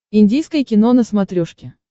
индийское кино на смотрешке